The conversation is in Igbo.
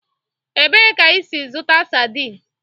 Ebee ka ị si zụta sadin?